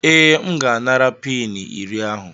Ee, M ga-anara peni iri ahụ.